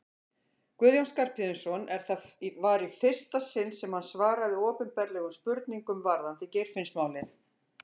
Guðjón Skarphéðinsson en það var í fyrsta sinn sem hann svaraði opinberlega spurningum varðandi Geirfinnsmálið.